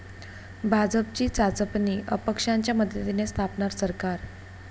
भाजपची चाचपणी, अपक्षांच्या मदतीने स्थापणार सरकार?